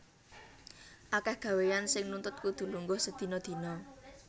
Akèh gawéyan sing nuntut kudu lungguh sedina dina